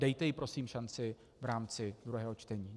Dejte jí prosím šanci v rámci druhého čtení.